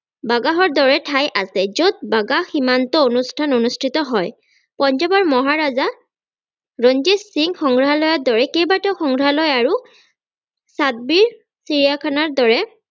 বাগাহৰ দৰে ঠাই আছে যত বাগাহ সীমান্ত অনুস্থান অনুস্থিত হয় । পঞ্জাৱৰ মহাৰাজা ৰঞ্জিত সিং সংগ্ৰহালয়ৰ দৰে কেইবাটাও সংগ্ৰহালয় আৰু ছাব্বিছ চিৰিয়াখানাৰ দৰে